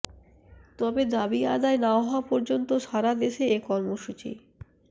তবে দাবি আদায় না হওয়া পর্যন্ত সারাদেশে এ কর্মসূচি